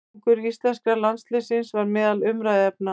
Árangur íslenska landsliðsins var meðal umræðuefna.